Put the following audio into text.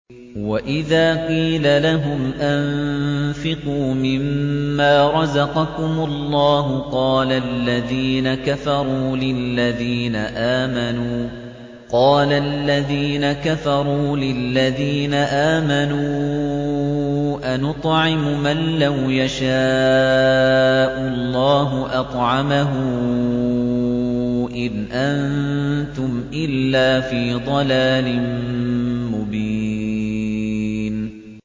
وَإِذَا قِيلَ لَهُمْ أَنفِقُوا مِمَّا رَزَقَكُمُ اللَّهُ قَالَ الَّذِينَ كَفَرُوا لِلَّذِينَ آمَنُوا أَنُطْعِمُ مَن لَّوْ يَشَاءُ اللَّهُ أَطْعَمَهُ إِنْ أَنتُمْ إِلَّا فِي ضَلَالٍ مُّبِينٍ